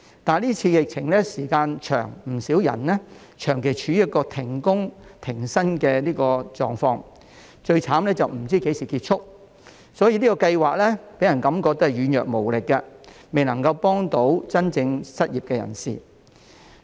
但是今次疫情的時間長，不少人長期處於停工、停薪的狀況，最慘是不知何時結束，所以這項計劃予人感覺是軟弱無力，未能夠幫助真正失業的人士。